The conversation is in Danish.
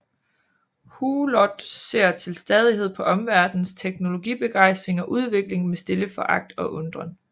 Hulot ser til stadighed på omverdenens teknologibegejstring og udvikling med stille foragt og undren